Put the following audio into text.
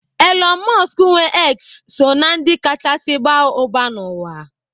Elon Musk nwee X so na ndị kachasị baa ụba n'ụwa.